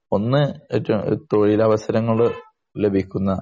ഒരു സാധനം ഒന്ന് ഏറ്റവും തൊഴിൽ അവസരങ്ങൾ ലഭിക്കുന്ന